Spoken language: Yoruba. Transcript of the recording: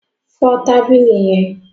Fọ tábìlì yẹn.